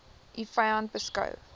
u vyand beskou